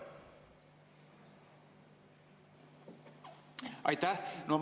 Aitäh!